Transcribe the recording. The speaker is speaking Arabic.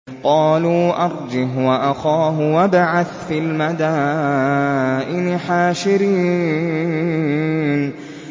قَالُوا أَرْجِهْ وَأَخَاهُ وَابْعَثْ فِي الْمَدَائِنِ حَاشِرِينَ